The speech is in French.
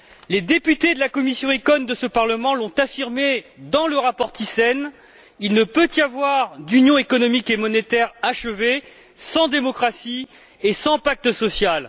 Les députés de la commission ECON de ce Parlement l'ont affirmé dans le rapport Thyssen, il ne peut y avoir d'union économique et monétaire achevée sans démocratie et sans pacte social.